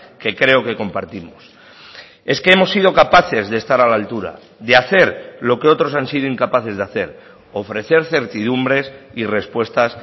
que creo que compartimos es que hemos sido capaces de estar a la altura de hacer lo que otros han sido incapaces de hacer ofrecer certidumbres y respuestas